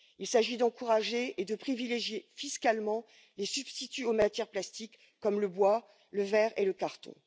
Il s'agit d'encourager et de privilégier fiscalement les substituts aux matières plastiques, comme le bois, le verre et le carton.